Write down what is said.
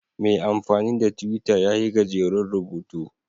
Mai amfani da Twitter ya yi gajeren rubutu